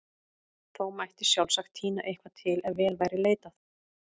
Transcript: Þó mætti sjálfsagt tína eitthvað til ef vel væri leitað.